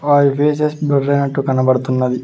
వారి faces blur అయినట్టు కనబడుతున్నది.